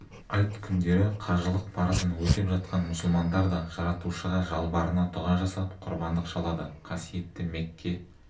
айт күндері қажылық парызын өтеп жатқан мұсылмандар да жаратушыға жалбарына дұға жасап құрбандық шалады қасиетті мекке